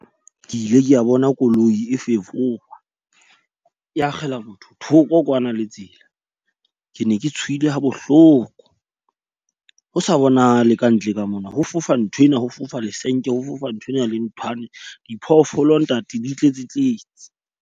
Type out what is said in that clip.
Ke ile ke a bona koloi e fefowa e akgela motho thoko kwana le tsela. Ke ne ke tshohile ha bohloko. Ho sa bona le ka ntle ka mona. Ho fofa nthwena ho fofa lesenke, ho fofa nthwena le nthwane. Diphoofolo ntate di tletse tletse.